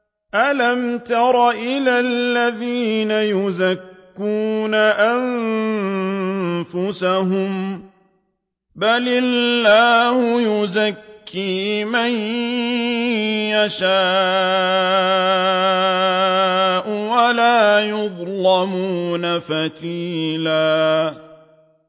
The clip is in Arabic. أَلَمْ تَرَ إِلَى الَّذِينَ يُزَكُّونَ أَنفُسَهُم ۚ بَلِ اللَّهُ يُزَكِّي مَن يَشَاءُ وَلَا يُظْلَمُونَ فَتِيلًا